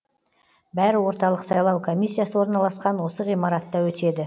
бәрі орталық сайлау комиссиясы орналасқан осы ғимаратта өтеді